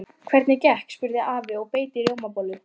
Hvernig gekk? spurði afi og beit í rjómabollu.